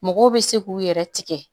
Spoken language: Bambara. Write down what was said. Mɔgɔw bɛ se k'u yɛrɛ tigɛ